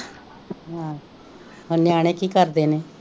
ਹਮ ਹੋਰ ਨਿਆਣੇ ਕਿ ਕਰਦੇ ਨੇ